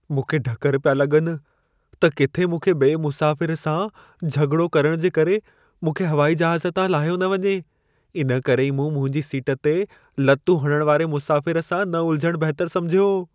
मूंखे ढकर पिया लॻनि, त किथे मूंखे ॿिए मुसाफ़िर सां झॻिड़ो करण जे करे मूंखे हवाई जहाज़ तां लाहियो न वञे। इन करे ई मूं मुंहिंजी सीट ते लतूं हणण वारे मुसाफ़िर सां न उलझण बहितर समिझियो।